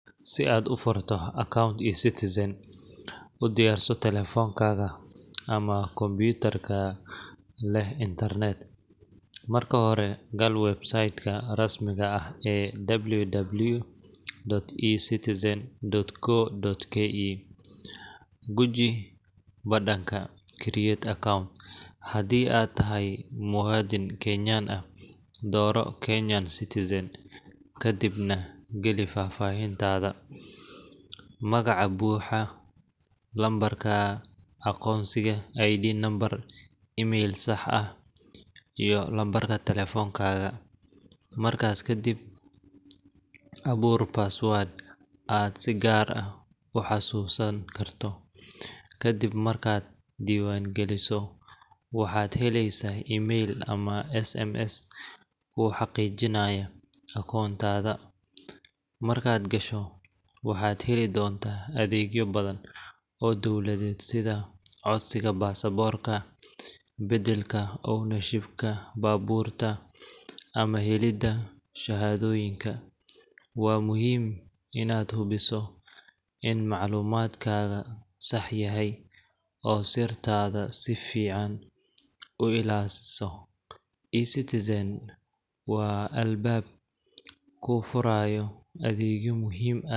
Si aad u furato akoonto eCitizen, u diyaarso taleefankaaga ama kombiyuutarka leh internet. Marka hore, gal website ka rasmiga ah ee www.ecitizen.go.ke. Guji badhanka Create Account. Haddii aad tahay muwaadin Kenyan ah, dooro Kenyan Citizen kadibna geli faahfaahintaada: magaca buuxa, lambarka aqoonsiga ID Number, emai l sax ah, iyo lambarka taleefankaaga. Markaas kadib, abuur password aad si gaar ah u xasuusan karto. Ka dib markaad diiwaangeliso, waxaad helaysaa emai l ama SMS kuu xaqiijinaya akoontaada. Markaad gasho, waxaad heli doontaa adeegyo badan oo dawladeed sida codsiga baasaboorka, beddelka ownership ga baabuurta, ama helidda shahaadooyinka. Waa muhiim inaad hubiso in macluumaadkaaga sax yahay oo sirtaada si fiican u ilaaliso. eCitizen waa albaab kuu furaya adeegyo muhiim ah.